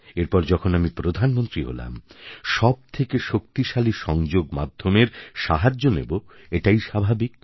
এরপর যখন আমি প্রধানমন্ত্রী হলাম সব থেকে শক্তিশালী সংযোগ মাধ্যমের সাহায্য নেবো এটাই স্বাভাবিক